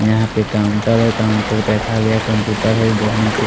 यह पे काउंटर है काउंटर पे रखा गया है कंप्यूटर है वो देखने में--